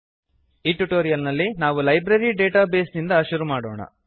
ಈ ಟ್ಯುಟೋರಿಯಲ್ ನಲ್ಲಿ ನಾವು ಲೈಬ್ರರಿ ಡೇಟಾ ಬೇಸ್ ನಿಂದ ಶುರು ಮಾಡೋಣ